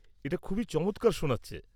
এটা খুবই চমৎকার শোনাচ্ছে।